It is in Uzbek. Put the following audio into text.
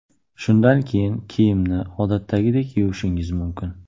Shundan keyin, kiyimni odatdagidek yuvishingiz mumkin.